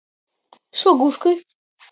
Svo gúrku.